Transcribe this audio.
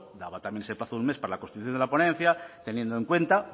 daba también ese plazo de un mes para la constitución de la ponencia teniendo en cuenta